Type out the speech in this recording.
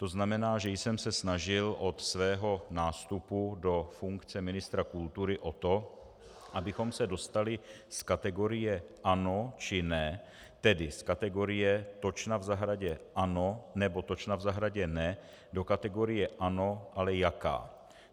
To znamená, že jsem se snažil od svého nástupu do funkce ministra kultury o to, abychom se dostali z kategorie ano, či ne, tedy z kategorie točna v zahradě ano, nebo točna v zahradě ne, do kategorie ano, ale jaká.